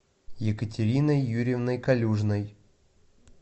екатериной юрьевной калюжной